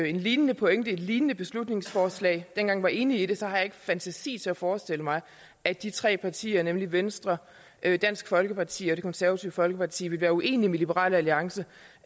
en lignende pointe et lignende beslutningsforslag og dengang var enige om det så har jeg ikke fantasi til at forestille mig at de tre partier nemlig venstre dansk folkeparti og det konservative folkeparti vil være uenige med liberal alliance